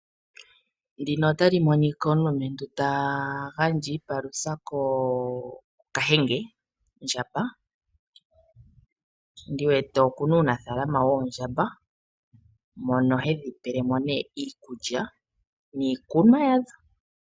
Omulumentu ota gandja iipalutha kookahenge ,oondjamba, ndi wete okuna unafalama woondjamba mono hedhi pelemo nee iikulya niikunwa yasho.